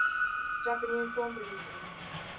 japanese film producers